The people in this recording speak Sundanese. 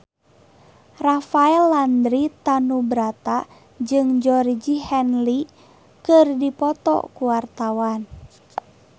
Rafael Landry Tanubrata jeung Georgie Henley keur dipoto ku wartawan